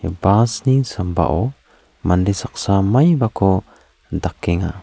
bas ni sambao mande saksa maibako dakenga.